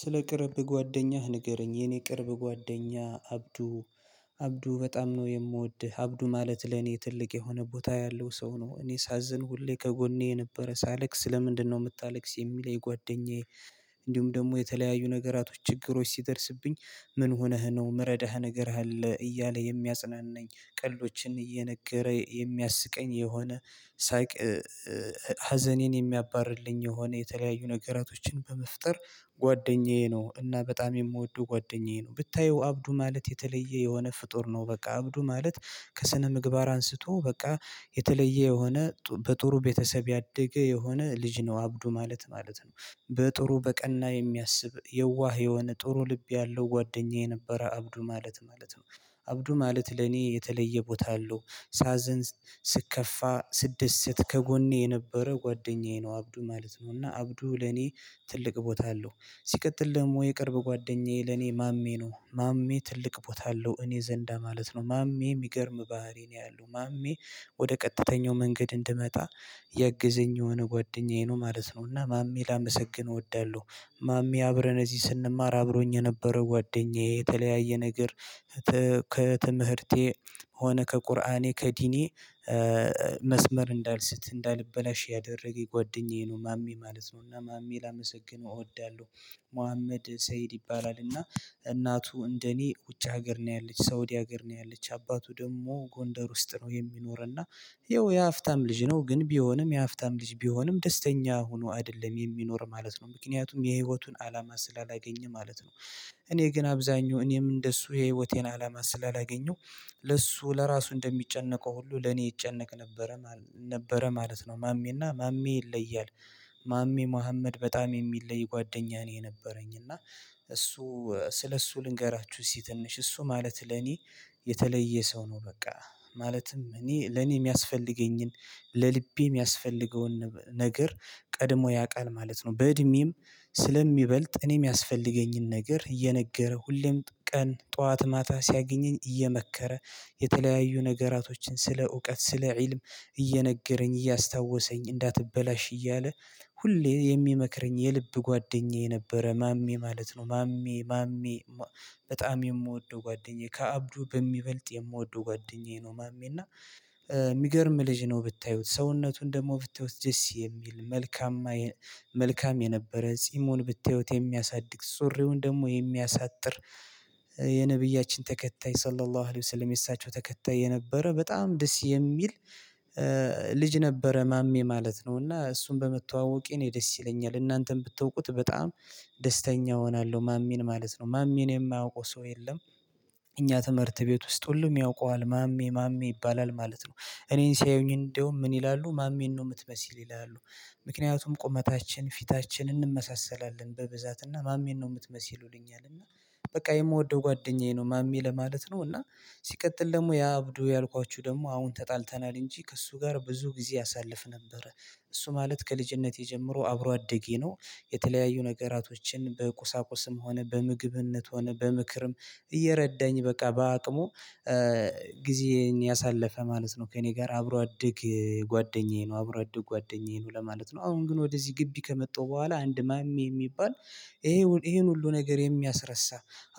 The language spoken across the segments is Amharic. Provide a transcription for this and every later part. ስለ ቅርብ ጓደኛህ ንገረኝ የኔ ቅርብ ጓደኛ አብዱ አብዱ በጣም ነው የምወድህ አብዱ ማለት ለኔ ትልቅ የሆነ ቦታ ያለው ሰው ነው እኔ ሳዝን ሁሌ ከጎኔ የነበረ ሳለቅስ ለምንድነው የምታለቅስ የሚል ጓደኛዬ። እንዲሁም ደግሞ የተለያዩ ነገራቶች ችግሮች ሲደርስብኝ ምን ሆነህ ነው ምረዳህ ነገር አለ እያለ የሚያጽናናኝ ቀልዶችን እየነገረ የሚያስቀኝ የሆነ ሳቅ። ሀዘኔን የሚያባርልኝ የሆነ የተለያዩ ነገራቶችን በመፍጠር ጓደኛዬ ነው እና በጣም የምወደው ጓደኛዬ ነው። ብታየው አብዱ ማለት የተለየ የሆነ ፍጡር ነው። በቃ አብዱ ማለት ከስነ ምግባር አንስቶ በቃ የተለየ የሆነ በጥሩ ቤተሰብ ያደገ የሆነ ልጅ ነው አብዱ ማለት ማለት ነው። በጥሩ በቀና የሚያስብ የዋህ የሆነ ጥሩ ልብ ያለው ጓደኛዬ ነበረ አብዱ ማለት ማለት ነው። አብዱ ማለት ለኔ የተለየቦታ አለው። ሳዘን ስከፋ ስደሰት ከጎኔ የነበረ ጓደኛዬ ነው አብዱ ማለት ነው። እና አብዱ ለኔ ትልቅ ቦታ አለው። ሲቀጥል ደግም የቅርብ ጓደኛዬ ለእኔ ማሜ ነው ማሜ ትልቅ ቦታ አለው እኔ ዘንድ ማለት ነው ማሜ የሚገርም ባህሪ ነው ያለው ማሜ። ወደ ቀጥተኛው መንገድ እንድመጣ የግዘኝ የሆነ ጓደኛዬ ነው ማለት ነው እና ማሜ ላመሰግን እወዳለሁ። ማሜ አብረን እዚህ ስንማር አብሮኝ የነበረው ጓደኛዬ የተለያየ ነገር። ከትምህርቴ ሆነ ከቁርአኔ ከዲኔ። መስመር እንዳልስት እንዳልበላሽ ያደረገኝ ጎደኛዬ ነው ማሜ ማለት ነው። እና ማሜ ላመሰግነው እወዳለሁ። መሀመድ ሰይድ ይባላል እና። እናቱ እንደኔ ውጭ ሀገር ነው ያለች ሳውዲ ሀገር ነው ያለች አባቱ ደግሞ ጎንደር ውስጥ ነው የሚኖረና። ያው የሃብታም ልጅ ነው ግን ቢሆንም የሃብታም ልጅ ቢሆንም ደስተኛ ሆኖ አይደለም የሚኖር ማለት ነው ምክንያቱም የህይወቱን አላማ ስላላገኘ ማለት ነው። እኔ ግን አብዛኛው እኔም እንደሱ የህይወቴን አላማ ስላላገኘው። ለሱ ለራሱ እንደሚጨነቀው ሁሉ ለኔ ይጨነቅ ነበረ ማለት ነው ነበረ ማለት ነው ማሜና ማሜ ይለያል። ማሜ መሀመድ በጣም የሚለይ ጓደኛ ነው የነበረኝ እና። እሱ ስለ እሱ ልንገራችሁ እስክህ ትንሽ እሱ ማለት ለኔ የተለየ ሰው ነው በቃ። ማለትም እኔ ለኔ የሚያስፈልገኝን ለልቤ የሚያስፈልገውን ነገር ቀድሞ ያውቃል ማለት ነው። በእድሜም ስለሚበልጥ እኔም የሚያስፈልገኝን ነገር እየነገረ ሁሌም ቀን ጠዋት ማታ ሲያገኘኝ እየመከረ። የተለያዩ ነገራቶችን ስለ እውቀት ስለ ኢልም እየነገረኝ እያስታወሰኝ እንዳትበላሽ እያለ ሁሌ የሚመክረኝ የልብ ጓደኛዬ ነበረ ማሜ ማለት ማሜ ማሜ። በጣም የምወደው ጓደኛዬ ከአብዱ በሚበልጥ የምወደው ጓደኛዬ ነው ማሜ እና። የሚገርም ልጅ ነው ብታዩት ሰውነቱን ደግሞ ብታዩት ደስ የሚል መልካም መልካም የነበረ ጺሙን ብታዩት የሚያሳድግ ሱሪውን ደግሞ የሚያሳጥር የነብያችን ተከታይ ሰላላህ አህል ሰለሚ ያሳቸው ተከታይ የነበረ በጣም ደስ የሚል። ልጅ ነበረ ማሜ ማለት ነው። እና እሱን በመተዋወቄ እኔ ደስ ይለኛል እናንተም ብትወቁት በጣም ደስተኛ እሆናለሁ። ማሜን ማለት ነው ማሜን የማያውቀው ሰው የለም። እኛ ትምህርት ቤት ውስጥ ሁሉም ያውቀዋል ማሜ ማሜ ይባላል ማለት ነው። እኔን ሲያዩኝ እንደውም ምን ይላሉ ማሜን ነው የምትመስል ይላሉ? ምክንያቱም ቁመታችን ፊታችን እንመሳሰላለን በብዛትና ማሜን ነው የምትመስል ይሉኛል እና። በቃ የምወደው ጓደኛዬ ነው ማሜ ለማለት ነው። እና ሲቀጥል ደግሞ ያብዱ ያልኳችሁ ደግሞ አሁን ተጣልተናል እንጂ ከእሱ ጋር ብዙ ጊዜ አሳልፍ ነበር። እሱ ማለት ከልጅነቴ ጀምሮ አብሮ አደጌ ነው። የተለያዩ ነገራቶችን በቁሳቁስም ሆነ በምግብነትም ሆነ በምክርም እየረዳኝ በቃ በአቅሙ። ጊዜን ያሳለፈ ማለት ነው ከእኔ ጋር አብሮ አድግ ጓደኛዬ ነው አብሮ አደግ ጓደኛዬ ነው ለማለት ነው። አሁን ግን ወደዚህ ግቢ ከመጣሁ በኋላ አንድ ማሜ የሚባል ይሄን ይሄን ሁሉ ነገር የሚያስረሳ።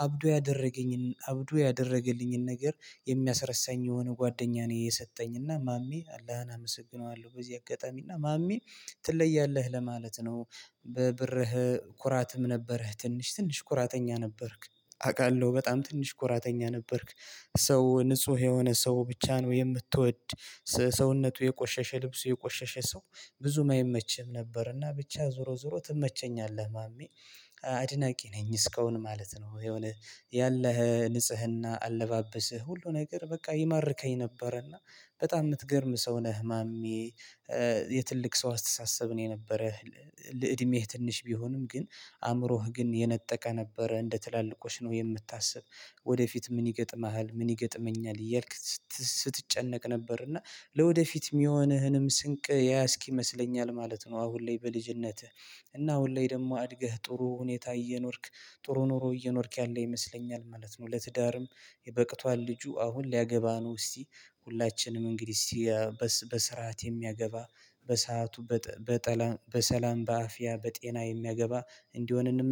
አብዱ ያደረገኝን አብዶ ያደረገልኝን ነገር የሚያስረሳኝ የሆነ ጓደኛ ነኝ የሰጠኝ እና ማሜ አላህን አመሰግነዋለሁ በዚህ አጋጣሚና ማሜ። ትለያለህ ለማለት ነው። በብርህ ኩራትም ነበረህ ትንሽ ትንሽ ኩራተኛ ነበርክ። አውቃለሁ በጣም ትንሽ ኩራተኛ ነበርክ። ሰው ንጹህ የሆነ ሰው ብቻ ነው የምትወድ። ሰውነቱ የቆሸሸ ልብሱ የቆሸሸ ሰው። ብዙም አይመችም ነበርና ብቻ ዞሮ ዞሮ ትመቸኛለህ ማሜ። አድናቂ ነኝ እስካሁን ማለት ነው የሆነ ያለህ ንጽህና አለባበስህ ሁሉ ነገር በቃ ይማርከኝ ነበረና። በጣም የምትገርም ሰው ነህ ማሜ። የትልቅ ሰው አስተሳሰብ ነው የነበረ። ልዕድሜህ ትንሽ ቢሆንም ግን አእምሮህ ግን የነጠቀ ነበረ እንደ ትላልቆች ነው የምታስብ። ወደፊት ምን ይገጥምሃል ምን ይገጥመኛል እያልክ ስትጨነቅ ነበር እና። ለወደፊት የሚሆንህንም ስንቅ ያያስክ ይመስለኛል ማለት ነው። አሁን ላይ በልጅነትህ እና አሁን ላይ ደግሞ አድገህ ጥሩ ሁኔታ እየኖርክ። ጥሩ ኑሮ እየኖርክ ያለ ይመስለኛል ማለት ነው። ለትዳርም የ በቅቷል ልጁ አሁን ሊያገባ ነው እስቲ። ሁላችንም እንግዲህ እስቲ። በስርዓት የሚያገባ በሰአቱ። በሰላም በአፍያ በጤና የሚያገባ እንዲሆን እንመ